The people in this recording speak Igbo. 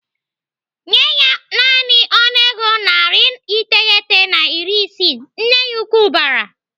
"Nyee ya naanị ọnụego narị iteghete na iri isii!" Nne ya ukwu bara.